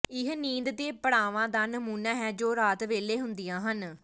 ਇਹ ਨੀਂਦ ਦੇ ਪੜਾਵਾਂ ਦਾ ਨਮੂਨਾ ਹੈ ਜੋ ਰਾਤ ਵੇਲੇ ਹੁੰਦੀਆਂ ਹਨ